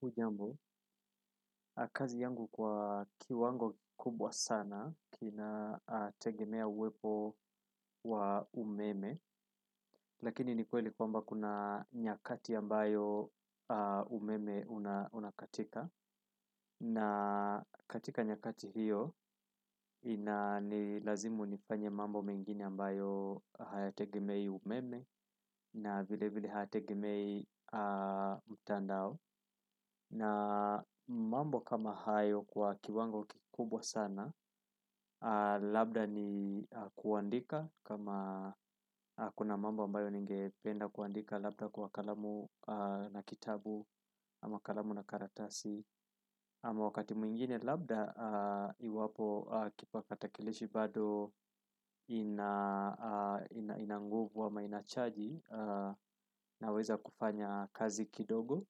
Hujambo, kazi yangu kwa kiwango kubwa sana, kinategemea uwepo wa umeme, lakini ni kweli kwamba kuna nyakati ambayo umeme unakatika. Na katika nyakati hiyo, inalazimu nifanye mambo mengine ambayo hayategemei umeme na vile vile hayategemei mtandao. Na mambo kama hayo kwa kiwango kikubwa sana labda ni kuandika kama kuna mambo ambayo ningependa kuandika labda kwa kalamu na kitabu ama kalamu na karatasi ama wakati mwingine labda iwapo kipakatakilishi bado kina nguvu ama ina chaji naweza kufanya kazi kidogo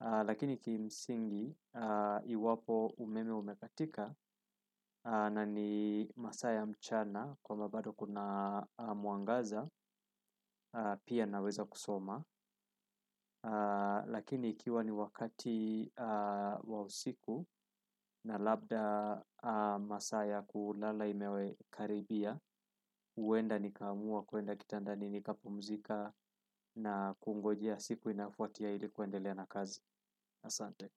lakini kimsingi iwapo umeme umekatika na ni masaa ya mchana kama bado kuna mwangaza pia naweza kusoma lakini ikiwa ni wakati wa usiku na labda masaa ya kulala imekaribia. Uenda nikaamua kuenda kitandani nikapumzika na kungojea siku inafuatia ili kuendelea na kazi Asante.